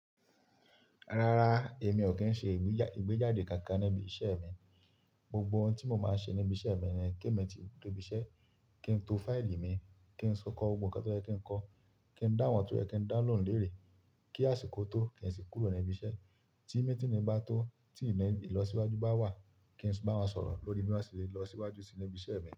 Rárá, èmi ò kí ń ṣe ìgbéjáde kankan níbi iṣẹ́ mi. Gbogbo ohun tí mo máa ń ṣe níbi iṣẹ́ mi ni kí èmi ti debi iṣẹ́, kí n to fáìlì mi, kí n si kọ́ gbogbo hun kan tó yẹ́ kí n kọ, kí n dáhùn tó fẹ́ kí n dá lóhùn léèrè, kí àsìkò tó kí n sì kúrò ní ibi iṣẹ́. Tí meeting ní bá tó, tí ìlọsíwájú bá wà, kí n sì bá wọn sọ̀rọ̀ lórí bí wọn ṣe lè lọ síwájú sí níbi iṣẹ́ mi.